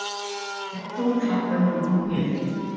Rétt og hún klappaði honum á hnéð.